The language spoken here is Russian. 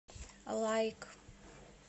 лайк